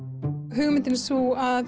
hugmyndin er sú að